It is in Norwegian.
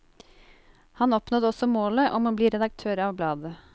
Han oppnådde også målet om å bli redaktør av bladet.